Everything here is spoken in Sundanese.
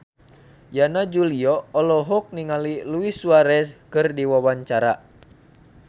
Yana Julio olohok ningali Luis Suarez keur diwawancara